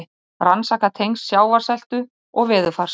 Rannsaka tengsl sjávarseltu og veðurfars